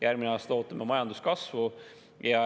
Järgmine aasta ootame majanduskasvu.